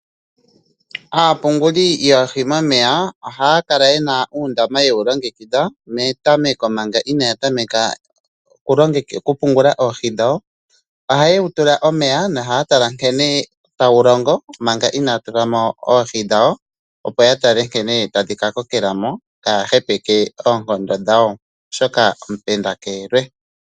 Aapunguli yoohi momeya, oha ya kala yena uundama ye wu longekidha metameko manga ina ya tameka oku pungula oohi dhawo, oha ye wutula omeya no haya tala nkene ta wu longo manga ina ya tulamo oohi dhawo, opo ya tale nkene tadhi ka kokelamo ka ya hepeke oonkondo dhawo. Oshoka omupende ke elwe.